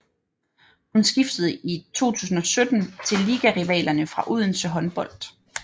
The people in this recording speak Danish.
Hun skiftede i 2017 til ligarivalerne fra Odense Håndbold